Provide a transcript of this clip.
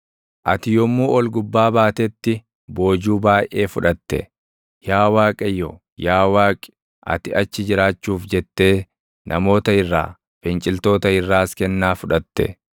Ati yommuu ol gubbaa baatetti boojuu baayʼee fudhate; yaa Waaqayyo, yaa Waaqi, ati achi jiraachuuf jettee, namoota irraa, finciltoota irraas kennaa fudhatte.